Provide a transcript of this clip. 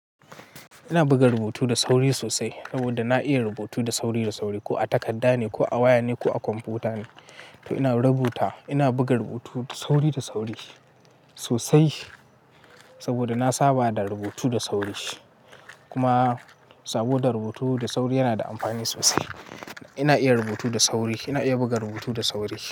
Ina buga rubutu da sauri sosai saboda na iya rubutu da sauri da sauri ko a takarda ne ko a waya ne ko a kwamfuta ne. To ina rubuta, ina buga rubutu da sauri da sauri sosai saboda na saba da rubutu da sauri. Kuma saboda rubutu da sauri yana da amfani sosai. Ina iya rubutu da sauri, ina iya buga rubutu da sauri.